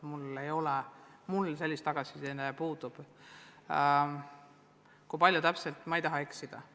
Mul selle kohta tagasiside puudub ja ma ei taha eksida.